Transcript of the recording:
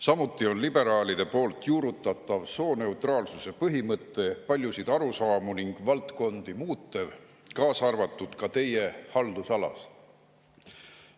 Samuti on liberaalide juurutatav sooneutraalsuse põhimõte paljusid arusaamu ning valdkondi muutev, kaasa arvatud teie haldusalas.